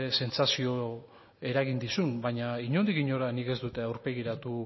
sentsazio eragin dizun baina inondik inora nik ez dut aurpegiratu